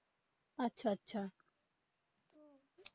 আচ্ছা আচ্ছা